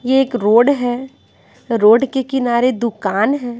ये एक रोड है रोड के किनारे दुकान है।